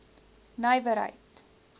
nywerheid